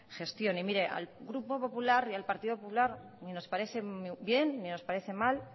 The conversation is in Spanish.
gestión mire al grupo popular y al partido popular ni nos parece bien ni nos parece mal